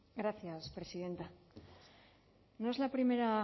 gracias presidenta no es la primera